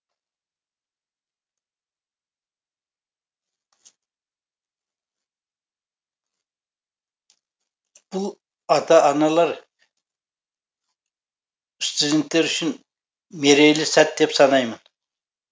бұл ата аналар студенттер үшін мерейлі сәт деп санаймын